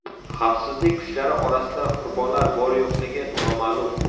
Xavfsizlik kuchlari orasida qurbonlar bor-yo‘qligi noma’lum.